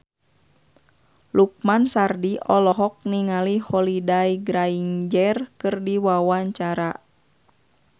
Lukman Sardi olohok ningali Holliday Grainger keur diwawancara